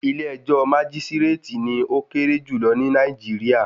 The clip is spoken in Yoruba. Ilé ẹjọ́ májísírátì ni ó kéré jùlọ ní Nàìjíríà.